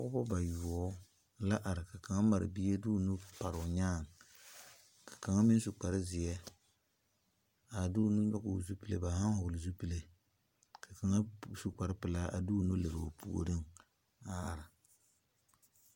Pɔgeba bayoɔbo la are ka kaŋ mare bie de o nuuri pare o nyaaŋ ka kaŋa meŋ su kparezeɛ a de o nuuri vɔgle zupile ba zaa vɔgle zupile ka kaŋa su kparepelaa a de o nu lere o puoriŋ a are .